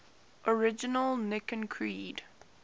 original nicene creed